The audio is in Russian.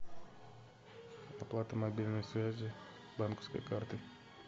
оплата мобильной связи банковской картой